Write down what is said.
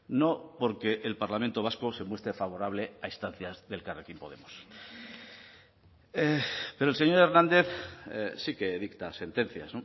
no porque el parlamento vasco se muestre favorable a instancia de elkarrekin podemos pero el señor hernández sí que dicta sentencias